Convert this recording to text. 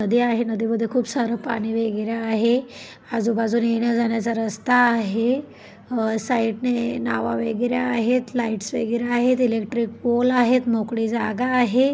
नदी आहे नदीमध्ये खूप सार पाणी वैगेरे आहे आजू-बाजूने येण्या-जाण्याचा रस्ता आहे अह साइट ने नावा वैगेरे आहेत लाइट्स वैगेरे आहेत इलेट्रिक पोल आहे मोकळी जागा आहे.